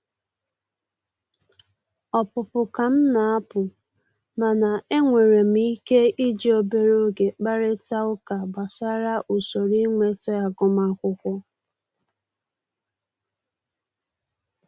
Ọpụpụ ka m na-apụ, mana e nwere m ike iji obere oge kparịtaa ụka gbasara usoro inweta agụmakwụkwọ